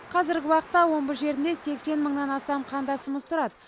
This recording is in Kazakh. қазіргі уақытта омбы жерінде сексен мыңнан астам қандасымыз тұрады